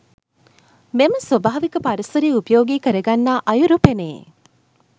මෙම ස්වාභාවික පරිසරය උපයෝගී කරගන්නා අයුරු පෙනේ.